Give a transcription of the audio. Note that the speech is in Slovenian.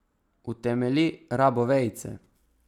Utemelji rabo vejice.